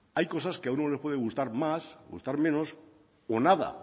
hay cosas que a uno le pueden gustar más gustar menos o nada